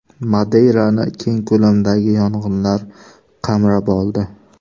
Madeyrani keng ko‘lamdagi yong‘inlar qamrab oldi .